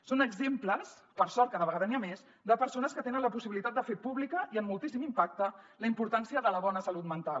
són exemples per sort cada vegada n’hi ha més de persones que tenen la possibilitat de fer pública i amb moltíssim impacte la importància de la bona salut mental